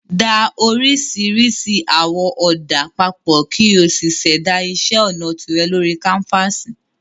Da oríṣiríṣi àwọ̀ ọ̀dà papọ̀ kí o sì ṣẹ̀dá iṣẹ́ ọnà tìrẹ lórí káńfàsì